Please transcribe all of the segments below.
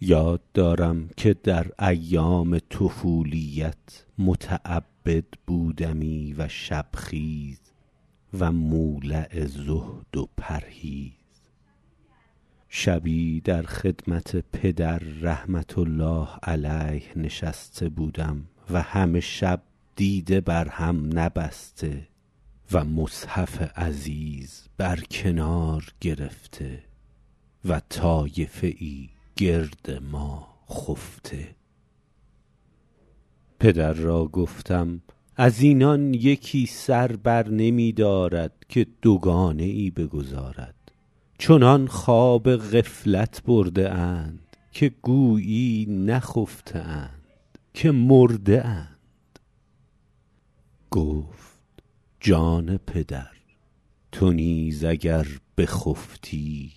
یاد دارم که در ایام طفولیت متعبد بودمی و شب خیز و مولع زهد و پرهیز شبی در خدمت پدر رحمة الله علیه نشسته بودم و همه شب دیده بر هم نبسته و مصحف عزیز بر کنار گرفته و طایفه ای گرد ما خفته پدر را گفتم از اینان یکی سر بر نمی دارد که دوگانه ای بگزارد چنان خواب غفلت برده اند که گویی نخفته اند که مرده اند گفت جان پدر تو نیز اگر بخفتی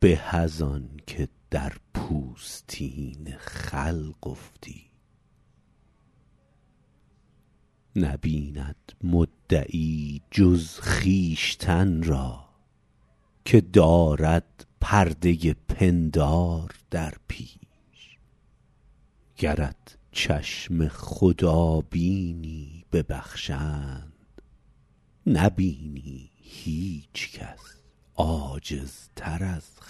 به از آن که در پوستین خلق افتی نبیند مدعی جز خویشتن را که دارد پرده پندار در پیش گرت چشم خدا بینی ببخشند نبینی هیچ کس عاجزتر از خویش